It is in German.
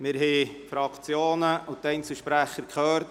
Wir haben die Fraktionen und die Einzelsprecher angehört.